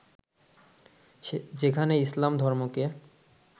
যেখানে ইসলাম ধর্মকে